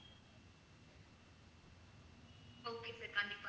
okay sir கண்டிப்பா